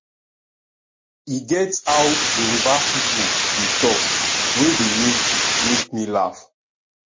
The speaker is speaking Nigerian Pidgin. e get how yoruba people dey talk wey dey make make me laugh